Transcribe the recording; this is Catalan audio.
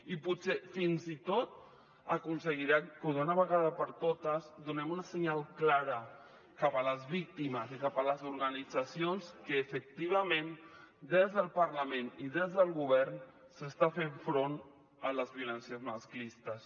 i potser fins i tot aconseguirem que d’una vegada per totes donem un senyal clar cap a les víctimes i cap a les organitzacions que efectivament des del parlament i des del govern s’està fent front a les violències masclistes